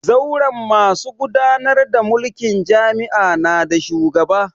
Zauren masu gudanar da mulkin jami'a na da shugaba